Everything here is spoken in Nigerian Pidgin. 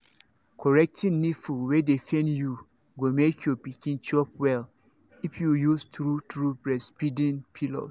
correcting nipple wey dey pain you go make your pikin chop well if you use true true breastfeeding pillows